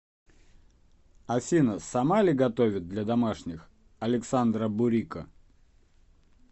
афина сама ли готовит для домашних александра бурико